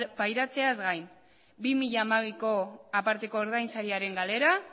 pairatzeaz gain bi mila hamabiko aparteko ordainsariaren galera